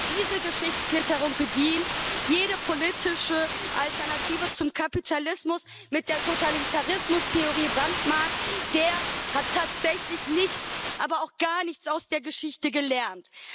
Wer diese Geschichtsklitterung bedient, jede politische Alternative zum Kapitalismus mit der Totalitarismustheorie brandmarkt, der hat tatsächlich nichts, aber auch gar nichts aus der Geschichte gelernt.